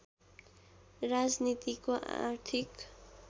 राजनीतिको आर्थिक